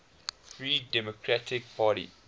free democratic party